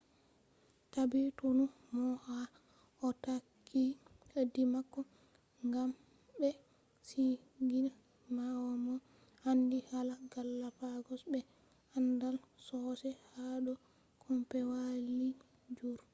tabbitunu mo a tokki hedi mako ngam be sigina ma mo aandi hala galapagos be aandal sosai ha do kombeewalji jur